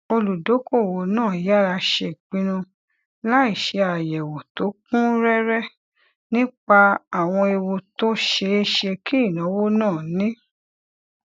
olùdókòwò náà yára ṣe ìpinnu láìṣe àyèwò tó kún réré nípa àwọn ewu tó ṣeé ṣe kí ìnáwó náà ní